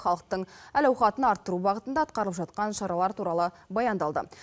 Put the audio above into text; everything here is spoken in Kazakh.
халықтың әл ауқатын арттыру бағытында атқарылып жатқан шаралар туралы баяндалды